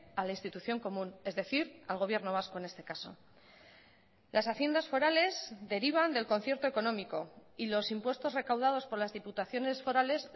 a la institución común es decir al gobierno vasco en este caso las haciendas forales derivan del concierto económico y los impuestos recaudados por las diputaciones forales